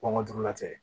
Kɔngɔ dugu la tɛ